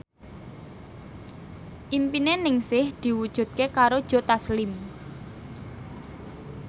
impine Ningsih diwujudke karo Joe Taslim